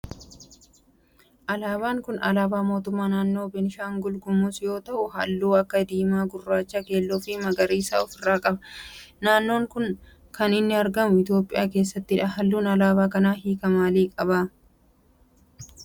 Alaabaan kun alaabaa mootummaa naannoo beenishaalgul gumuz yoo ta'u halluu akka diimaa, gurraacha, keelloo fi magariisa of irraa qaba. naannoon kun kan inni argamu Itiyoophiyaa keessattidha. halluun alaabaa kanaa hiika maalii qaba?